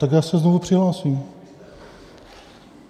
Tak já se znovu přihlásím.